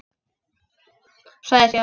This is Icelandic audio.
Sagði síðan: